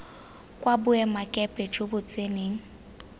kwa boemakepe jo bo tseneng